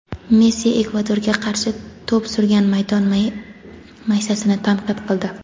Messi Ekvadorga qarshi to‘p surgan maydon maysasini tanqid qildi.